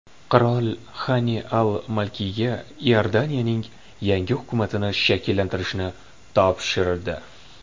Qirol Xani al-Malkiyga Iordaniyaning yangi hukumatini shakllantirishni topshirdi.